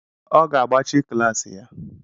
Ọ ga-agbachi klaasị ya.